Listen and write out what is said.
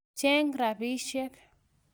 Cheng' rapisyek.